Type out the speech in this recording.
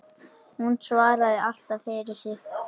Hún svaraði alltaf fyrir sig.